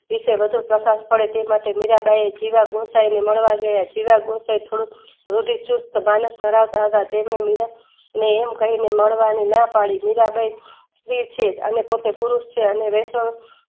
ઈશ્વર વધુપર્કસ પડે તેમાટે મીરાંબાઈએ ખીરા ધૂમસને મળવા ગયા જીવ ગુમસાયે થોડું રૂઢિચુસ્ત માણસ ધરાવતા હતા તેને મીરાને એમ કહીને મળવાની નાપાડી મીરાંબાઈ સાવેછીક અને પોતે પુરુસ છે